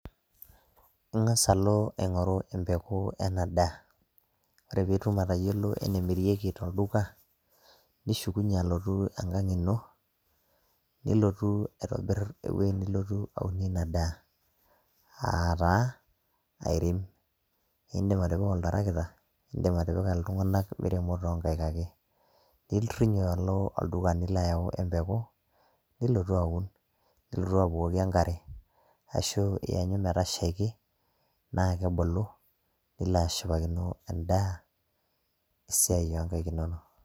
Ingas alo aingoru empeku ena daa. Ore pitum atayiolo enemirieki tolduka ,nishukunyie alotu enkang ino , nilotu aitobir ewueji nilotu aunie ina daa ,aa taa airem. Indim atipika oltarakita ,indimatipika iltunganak miremo too nkaik ake. Nirinyo alo olduka nila ayau empeku nilotu aun , nilotu abukoki enkare ashu iyanyu metashaiki naa kebulu nilo ashipakino endaa oonkaik inono.